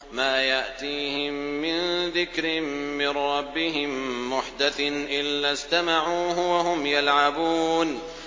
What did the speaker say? مَا يَأْتِيهِم مِّن ذِكْرٍ مِّن رَّبِّهِم مُّحْدَثٍ إِلَّا اسْتَمَعُوهُ وَهُمْ يَلْعَبُونَ